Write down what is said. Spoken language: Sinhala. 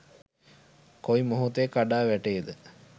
කොයි මොහොතේ කඩා වැටේද